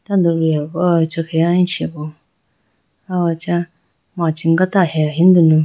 tandoliyayi bo aw acha khege aluchi bo aw acha machi gata he ahiyi dunu.